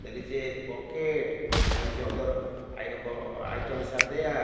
there is a bouquet there is a other i ba items are there.